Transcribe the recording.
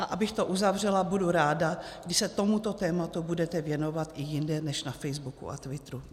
A abych to uzavřela, budu ráda, když se tomuto tématu budete věnovat i jinde než na Facebooku a Twitteru.